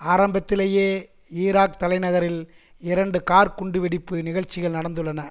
ஆரம்பத்திலேயே ஈராக் தலைநகரில் இரண்டு கார் குண்டு வெடிப்பு நிகழ்ச்சிகள் நடந்துள்ளன